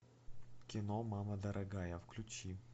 кино мама дорогая включи